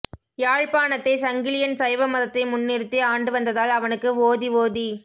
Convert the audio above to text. யாழ்ப்பாணத்தை சங்கிலியன் சைவ மதத்தை முன்னிறுத்தி ஆண்டுவந்ததால் அவனுக்கு ஓதி ஓதி